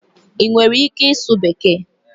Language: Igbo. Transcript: Ị nwere ike ịsụ bekee?